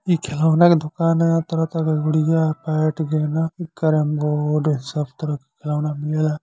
इ खेलौना के दोकान ह। तरह-तरह क गुड़िया बैट गेना कैरमबोर्ड सब तरह के खेलौना मिलेला।